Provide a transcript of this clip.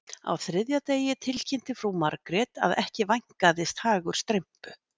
Á þriðja degi tilkynnti frú Margrét að ekki vænkaðist hagur Strympu